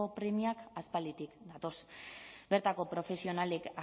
premiak aspalditik datoz bertako profesionalek